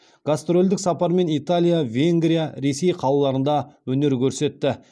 гастрольдік сапармен италия венгрия ресей қалаларында өнер көрсетті